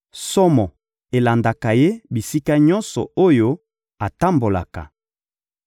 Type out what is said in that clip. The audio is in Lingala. Somo elandaka ye bisika nyonso oyo atambolaka.